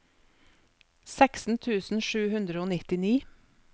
seksten tusen sju hundre og nittini